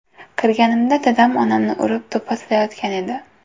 Kirganimda dadam onamni urib do‘pposlayotgan edi.